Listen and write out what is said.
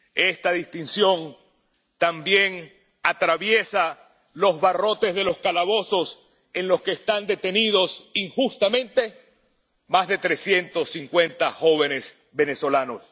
Esta distinción también atraviesa los barrotes de los calabozos en los que están detenidos injustamente más de trescientos cincuenta jóvenes venezolanos.